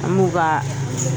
An m'u ka